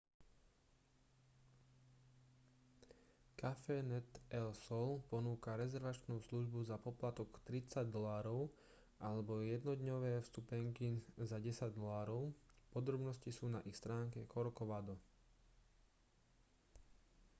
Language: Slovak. cafenet el sol ponúka rezervačnú službu za poplatok 30 usd alebo jednodňové vstupenky za 10 usd podrobnosti sú na ich stránke corcovado